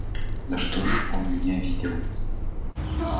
ну что ж он меня видел